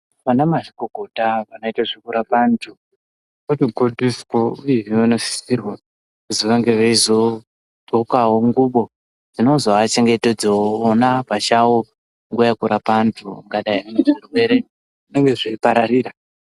Vanamazvikokota vanoite zvekurapa antu vanogondiswa uyehe vanosisirwa kuzi vange veizodxokawo ngubo dzinozoachengetedzawo ona pachavo nguva yekurapa antu angadai anezvirwere zvinenge zveipararira.